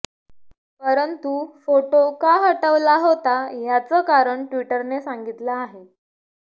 परंतु फोटो का हटवला होता याचं कारण ट्विटरने सांगितलं आहे